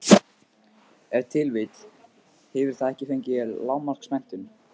Ef til vill hefur það ekki fengið lágmarksmenntun.